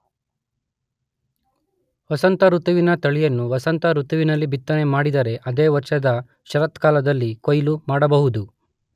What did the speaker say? ವಸಂತಋತುವಿನ ತಳಿಯನ್ನು ವಸಂತ ಋತುವಿನಲ್ಲಿ ಬಿತ್ತನೆ ಮಾಡಿದರೆ ಅದೇ ವರ್ಷದ ಶರತ್ಕಾಲದಲ್ಲಿ ಕೊಯಿಲು ಮಾಡಬಹುದು.